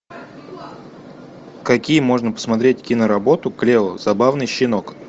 какие можно посмотреть киноработу клео забавный щенок